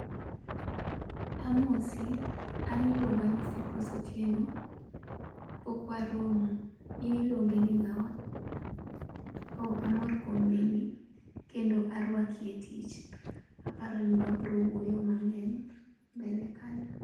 amosi, an iluonga ni Cyprose Otieno. pok waromo. in iluongi ni ngawa? oo, amor kuom neni kendo arwaki etich. aparo ni wabiro wuoyo mangeny mbele kanyo.